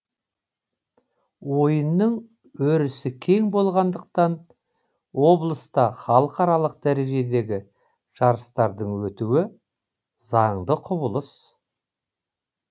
ойынның өрісі кең болғандықтан облыста халықаралық дәрежедегі жарыстардың өтуі заңды құбылыс